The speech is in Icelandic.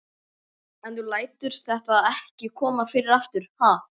En þú lætur þetta ekki koma fyrir aftur, ha?